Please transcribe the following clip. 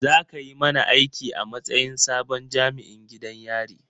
Za ka yi mana aiki a matsayin sabon jami'in gidan yari